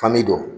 Fani don